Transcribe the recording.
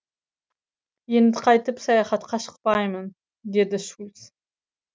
енді қайтып саяхатқа шықпаймын деді шульц